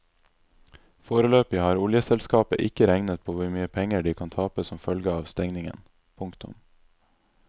Foreløpig har oljeselskapet ikke regnet på hvor mye penger de kan tape som følge av stengningen. punktum